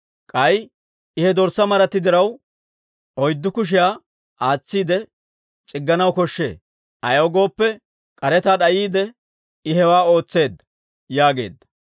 K'ay I he dorssaa maratti diraw oyddu kushiyaa aatsiide c'igganaw koshshee; ayaw gooppe, k'aretaa d'ayiide I hewaa ootseedda» yaageedda.